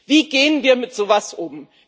Wie gehen wir mit so etwas um?